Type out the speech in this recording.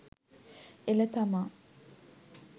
එළ තමා